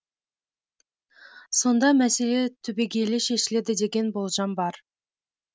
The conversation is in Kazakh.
сонда мәселе түбегейлі шешіледі деген болжам бар